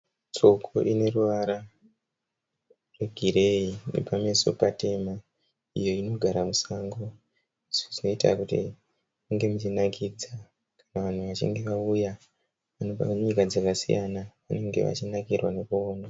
Tsoko ineruvara rwegireyi nepameso patema iyo inogara musango zvinoita kuti munge muchinakidza vanhu vachinge vauya vanobva kunyika dzakasiyana vange vachinakirwa nekuona.